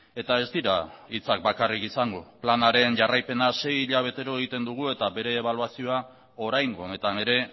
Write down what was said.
eta ez dira hitzak bakarrik izango planaren jarraipena sei hilabetero egiten dugu eta bere ebaluazioa oraingo honetan ere